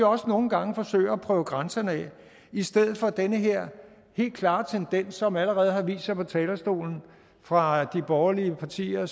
også nogle gange forsøger at prøve grænserne af i stedet for den her helt klare tendens som allerede har vist sig på talerstolen fra de borgerlige partier og